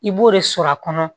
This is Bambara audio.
I b'o de sɔrɔ a kɔnɔ